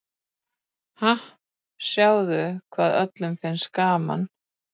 Ha, sjáðu hvað öllum finnst gaman.